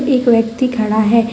एक व्यक्ति खड़ा है।